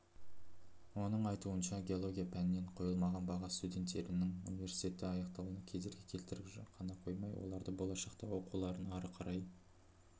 оның айтуынша геология пәнінен қойылмаған баға студенттердіңі университетті аяқтауына кедергі келтіріп қана қоймай оларды болашақта оқуларын ары қарай